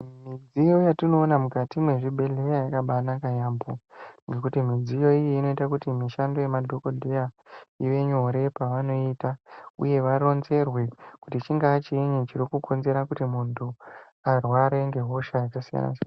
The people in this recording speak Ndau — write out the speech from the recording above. Midziyo yetinoona mukati mwezvibhedhleya yakabaanaka yaambo ngekuti midziyo iyi inoite kuti mishando yemadhokodheya ive nyore paanoiita uye varonzerwe kuti chingava chiinyi chiri kukonzera kuti muntu arware ngehosha dzesedzo.